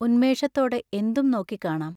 ഉന്മേഷത്തോടെ എന്തും നോക്കിക്കാണാം.